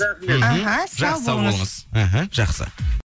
рахмет іхі жақсы сау болыңыз іхі жақсы